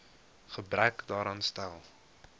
gebrek daaraan stel